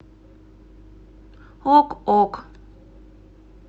ок ок